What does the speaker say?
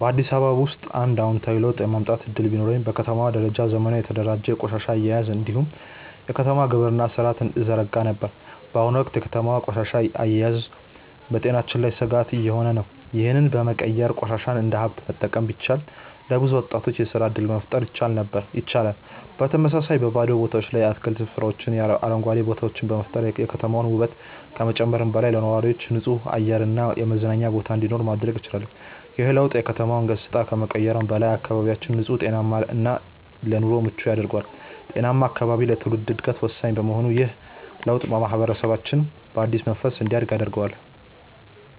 በአዲስ አበባ ውስጥ አንድ አዎንታዊ ለውጥ የማምጣት እድል ቢኖረኝ፣ በከተማዋ ደረጃ ዘመናዊና የተደራጀ የቆሻሻ አያያዝ እንዲሁም የከተማ ግብርና ሥርዓትን እዘረጋ ነበር። በአሁኑ ወቅት የከተማዋ ቆሻሻ አያያዝ በጤናችን ላይ ስጋት እየሆነ ነው፤ ይህንን በመቀየር ቆሻሻን እንደ ሀብት መጠቀም ቢቻል፣ ለብዙ ወጣቶች የስራ እድል መፍጠር ይቻላል። በተመሳሳይ፣ በባዶ ቦታዎች ላይ የአትክልት ስፍራዎችንና አረንጓዴ ቦታዎችን በመፍጠር የከተማዋን ውበት ከመጨመሩም በላይ፣ ለነዋሪዎች ንጹህ አየር እና የመዝናኛ ቦታ እንዲኖር ማድረግ እችላለሁ። ይህ ለውጥ የከተማዋን ገጽታ ከመቀየሩም በላይ፣ አካባቢያችንን ንጹህ፣ ጤናማ እና ለኑሮ ምቹ ያደርገዋል። ጤናማ አካባቢ ለትውልድ ዕድገት ወሳኝ በመሆኑ ይህ ለውጥ ማህበረሰባችንን በአዲስ መንፈስ እንዲያድግ ያደርገዋል።